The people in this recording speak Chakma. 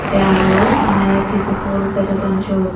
tey araw onek hiju pul bejodon siyot.